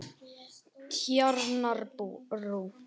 Tjarnarbrú